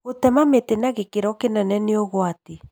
Gũtema mĩtĩ na gĩkĩro kĩnene nĩ ũgwati